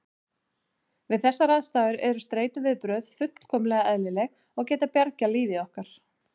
Við þessar aðstæður eru streituviðbrögð fullkomlega eðlileg og geta bjargað lífi okkar.